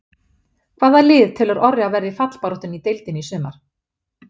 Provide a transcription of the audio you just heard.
Hvaða lið telur Orri að verði í fallbaráttunni í deildinni í sumar?